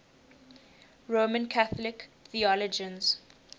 roman catholic theologians